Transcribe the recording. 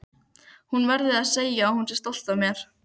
Hún verði að segja að hún sé stolt af mér.